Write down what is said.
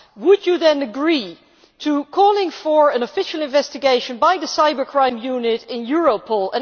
Would you then agree to calling for an official investigation by the cybercrime unit in Europol?